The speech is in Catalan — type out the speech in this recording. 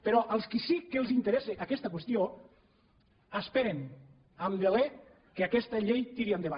però als que sí que els interessa aquesta qüestió esperen amb deler que aquesta llei tiri endavant